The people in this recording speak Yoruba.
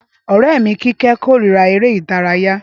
Ọrẹ mi kíkẹ̀ kórira èrè idaraya.